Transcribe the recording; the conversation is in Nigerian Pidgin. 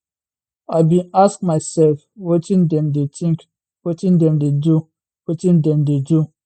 i bin ask myself wetin dem dey think wetin dem dey do wetin dem dey do